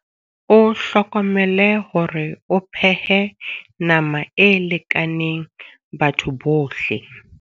O hlokomele hore o phehe nama e lekaneng batho bohle.